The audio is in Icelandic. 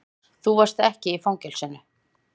Þú varst ekki í fangelsinu.